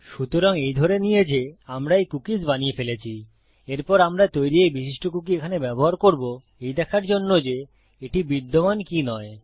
সুতরাং এই ধরে নিয়ে যে আমরা এই কুকীস বানিয়ে ফেলেছি এরপর আমার তৈরী এই বিশিষ্ট কুকী এখানে ব্যবহার করব এই দেখার জন্য যে এটি বিদ্যমান কি নয়